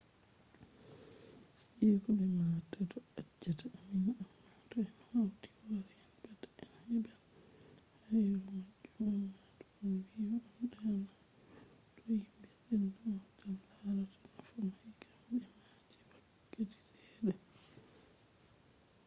siiko be maataddo accata ammin amma to en hauti hoore en pat en heɓɓan hayru majum amma to on wi'i on ɗawan to himɓe senda on tan larata nafu mai kamɓe ma je wakkati seɗɗa